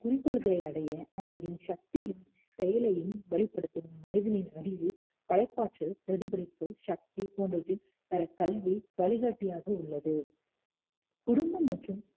குறிக்கோள்களை அடைய, அவர்களின் சக்தியும், செயலையும் வழிப்படுத்தும் மனிதனின் அறிவு படைப்பாற்றல் பிரதிபலிப்பு சக்தி போன்றவற்றைப் பெற கல்வி வழிகாட்டியாக உள்ளது குடும்பம் மற்றும்